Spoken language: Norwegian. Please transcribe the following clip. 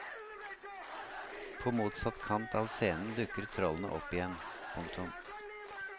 På motsatt kant av scenen dukker trollene opp igjen. punktum